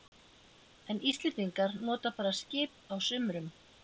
En Íslendingar nota bara skip á sumrum.